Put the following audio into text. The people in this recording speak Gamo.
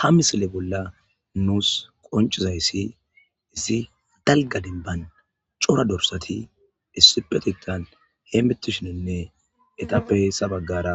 ha misile bolla nuus qoncizayssi issi dalga denban cora dorsati issipetetan hemmittishininne etappe heessa baggara